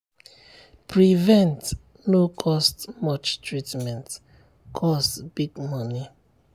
prevent no cost much treatment cost big money.